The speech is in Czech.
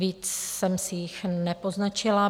Víc jsem si jich nepoznačila.